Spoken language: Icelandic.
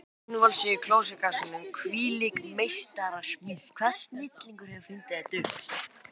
Innvolsið í klósettkassanum, hvílík meistarasmíð, hvaða snillingur hefur fundið þetta upp?